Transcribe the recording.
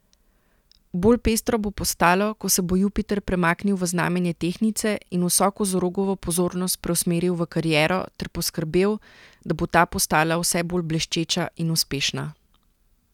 Bolj pestro bo postalo, ko se bo Jupiter premaknil v znamenje tehtnice in vso kozorogovo pozornost preusmeril v kariero ter poskrbel, da bo ta postala vse bolj bleščeča in uspešna.